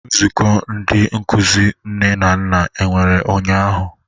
Nzukọ Ndị Nkụzi Nne na Nna nwere ụnyahụ?